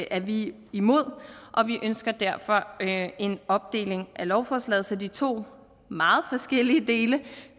er vi imod og vi ønsker derfor en opdeling af lovforslaget så de to meget forskellige dele